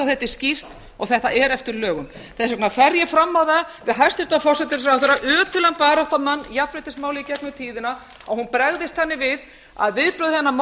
þetta er skýrt og þetta er eftir lögum þess vegna fer ég fram á það við hæstvirtan forsætisráðherra ötulan baráttumann jafnréttismála í gegnum tíðina að hún bregðist þannig við að viðbrögð hennar